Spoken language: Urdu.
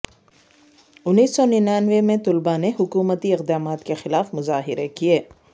انیس سو ننانوے میں طلبہ نے حکومتی اقدامات کے خلاف مظاہرے کیے